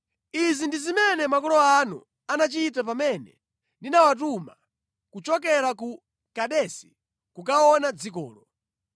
Izi ndi zimene makolo anu anachita pamene ndinawatuma kuchokera ku Kadesi kukaona dzikolo.